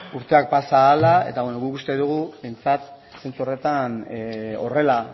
urteak pasa ahala eta guk uste dugu behintzat zentzu horretan horrela